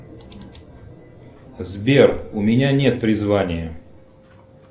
сбер у меня нет призвания